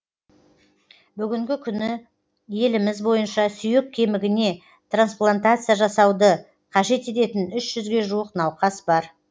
бүгінгі күні еліміз бойынша сүйек кемігіне трансплантация жасауды қажет ететін үш жүзге жуық науқас бар